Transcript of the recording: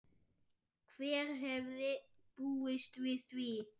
Hver hefði búist við því?